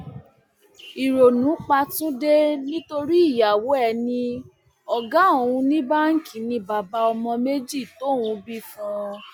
ìrònú pa túnde nítorí ìyàwó ẹ ní ọgá òun ní báǹkì ni bàbá ọmọ méjì tóun bí fún un